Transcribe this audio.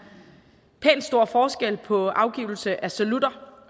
pænt stor forskel på afgivelse af salutter